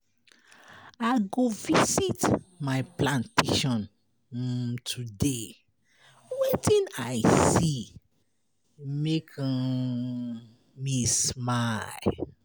I go visit my plantation um today, wetin I see make um me smile.